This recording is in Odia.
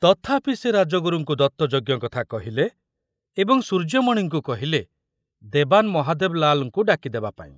ତଥାପି ସେ ରାଜଗୁରୁଙ୍କୁ ଦତ୍ତଯଜ୍ଞ କଥା କହିଲେ ଏବଂ ସୂର୍ଯ୍ୟମଣିଙ୍କୁ କହିଲେ ଦେବାନ ମହାଦେବ ଲାଲଙ୍କୁ ଡାକିଦେବା ପାଇଁ।